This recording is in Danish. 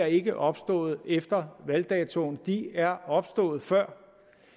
ikke er opstået efter valgdatoen de er opstået før